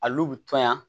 A n'u bi tɔɲɔn